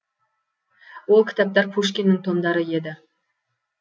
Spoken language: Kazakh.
ол кітаптар пушкиннің томдары еді